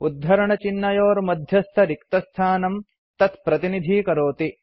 उद्धरणचिह्नयोर्मध्यस्थरिक्तस्थानं तत्प्रतिनिधीकरोति